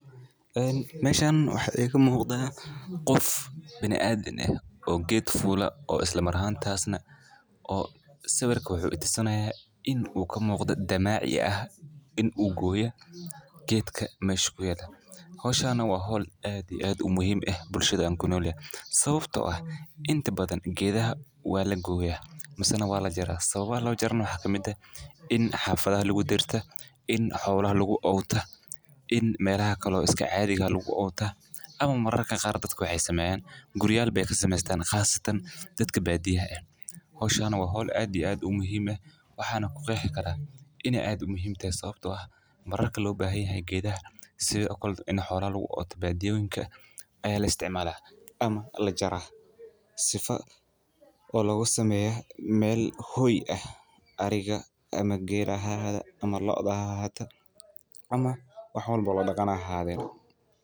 Een meeshan waxa iga muuqda qof bina aadin ah oo geed fowla oo isla marahan taasna, oo sawirka wuxuu itusinaso in uu ka muuqda damaacyo ah in uu gooya geedka meesh ku yala. Howshan waa hol aad iyo aad u muhiim ah bulshada aan ku nool yahe. Sababtoo ah inta badan geedaha waa la gooya, masana waa la jira sababa loo jarin wax ka mid ah in xafada lagu dirto, in xawla lagu oogta, in meelaha kaloo iska caadiga lagu oogtaa ama mararka qaar dadku ay sameeyaan guryaalka beekan sameystaan khaasatan dadka badiyaa ah. Hawshan waa hol aad iyo aad u muhiim ah. Waxaan ku qexi kara inay aad u muhiim tahay sababtoo ah mararka loo baahanyahay geedaha si kalada, in xawra lagu oogta, badiaawinka ayaa la isticmaalaa ama la jaraa. Sifa oo laga sameeya meel hoy ah, arriga ama geel ahaata ama lo'da ahaata ama wax walbo la dagaanaa haadeed.